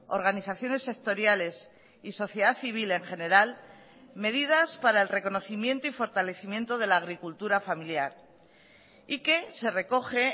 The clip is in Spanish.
organizaciones sectoriales y sociedad civil en general medidas para el reconocimiento y fortalecimiento de la agricultura familiar y que se recoge